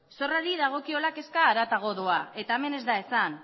zorrari dagokiola kezka harago doa eta hemen ez da esan